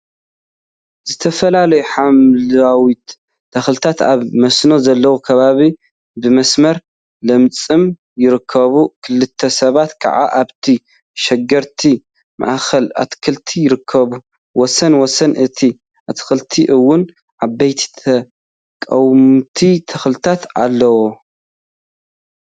ዝተፈላለዩ ሓምለዎት ተክሊታት ኣብ መስኖ ዘለዎ ከባቢ ብመስመር ለሚዖም ይርከቡ። ክልተ ሰባት ከዓ ኣብቲ ሽጉርቲ ማእከል ኣትክልቲ ይርከቡ። ወሰን ወሰን እቲ ኣትክልቲ እውን ዓበይቲ ቀወምቲ ተክልታት ኣለው።